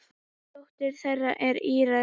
Dóttir þeirra er Íris.